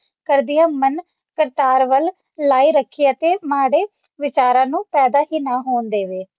ਕਰਦਿਆਂ ਮਨ ਕਰਤਾਰ ਵੱਲ ਲਾਈ ਰੱਖੀ ਅਤੇ ਮਾੜੇ ਵਿਚਾਰਾਂ ਨੂੰ ਪੈਦਾ ਕੀਤਾ ਹੋਣ ਦੇਵੇ